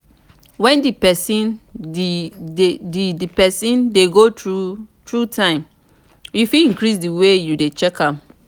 when di persin de di persin de go through though time you fit increase di way you de check am